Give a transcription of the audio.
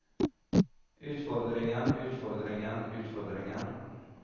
utfordringen utfordringen utfordringen